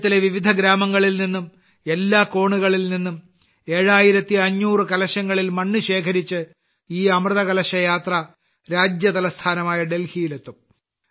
രാജ്യത്തിന്റെ വിവിധ ഗ്രാമങ്ങളിൽനിന്നും എല്ലാ കോണുകളിൽ നിന്നും 7500 കലശങ്ങളിൽ മണ്ണ് ശേഖരിച്ച് ഈ അമൃത് കലശ യാത്ര രാജ്യ തലസ്ഥാനമായ ഡൽഹിയിൽ എത്തും